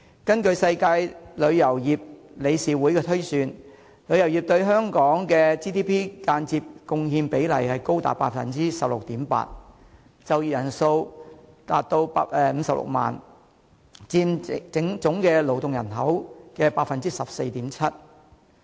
根據世界旅遊業理事會推算，旅遊業對香港的 GDP 的間接貢獻比例高達 16.8%， 就業人數達56萬人，佔總勞體人口 14.7%。